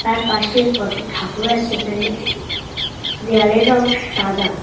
তার পাশে কটি ঠাকুর আছে এখানে দেওয়ালের রঙ সাদা।